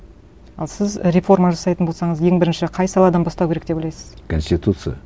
ал сіз реформа жасайтын болсаңыз ең бірінші қай саладан бастау керек деп ойлайсыз конституция